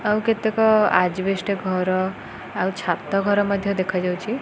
ଆଉ କେତେକ ଆଜିବେଷ୍ଟ ଘର ଆଉ ଛାତ ଘର ମଧ୍ୟ ଦେଖାଯାଉଛି।